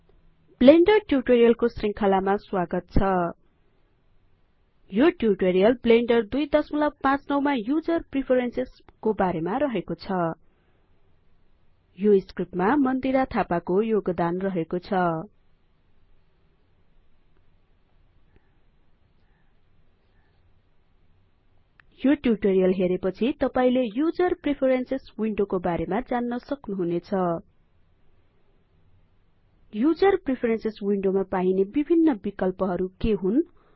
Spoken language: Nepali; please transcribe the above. ब्लेंडर ट्युटोरीअल को शृंखलामा स्वागत छ यो ट्युटोरीअल ब्लेंडर २५९ मा युजर प्रिफरेंसेसको बारेमा रहेको छ यो स्क्रिप्ट मा मन्दिरा थापाको योगदान रहेको छ यो ट्युटोरीअल हेरेपछि तपाइले युजर प्रेफेरेन्सेस विन्डो को बारेमा जान्न सक्नुहुनेछ युजर प्रेफेरेंसेस विन्डोमा पाइने विभिन्न बिकल्पहरु के हुन्